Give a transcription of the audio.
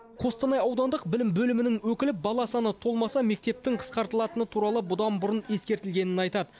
қостанай аудандық білім бөлімінің өкілі бала саны толмаса мектептің қысқартылатыны туралы бұдан бұрын ескертілгенін айтады